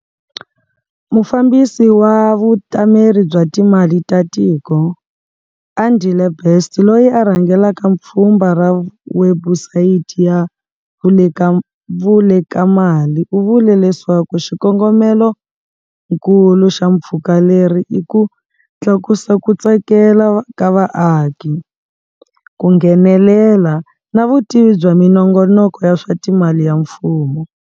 Mufambisi wa Vutameri bya Timali ta Tiko, Andile Best loyi a rhangelaka pfhumba ra webusayiti ya Vulekamali u vule leswaku xikongomelonkulu xa pfhumba leri i ku tlakusa ku tsakela ka vaaki, ku nghenelela na vutivi bya minongonoko ya swa timali ya mfumo.